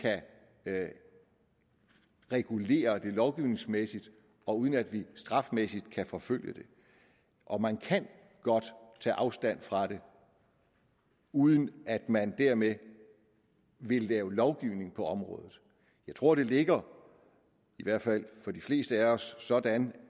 kan regulere det lovgivningsmæssigt og uden at vi strafmæssigt kan forfølge det og man kan godt tage afstand fra det uden at man dermed vil lave lovgivning på området jeg tror det ligger i hvert fald for de fleste af os sådan